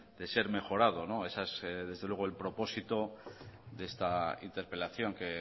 de ser mejorado ese es desde luego el propósito de esta interpelación que